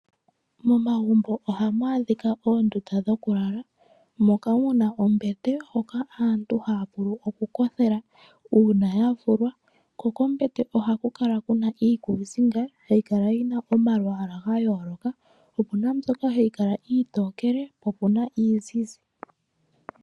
Momagumbo ohamu adhika oondunda dhoku lala moka muna ombete hoka aantu haa vulu okukothela uuna ya vulwa kokombete ohakukala kuna iikusinga hayi kala yina omalwaala ga yooloka okuna mbyoka iitokele okuna iizizi.